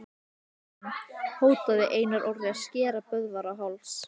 Sjá einnig: Hótaði Einar Orri að skera Böðvar á háls?